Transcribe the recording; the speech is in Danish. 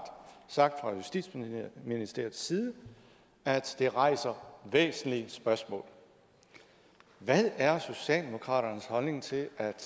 sagt fra justitsministeriets side at det rejser væsentlige spørgsmål hvad er socialdemokratiets holdning til at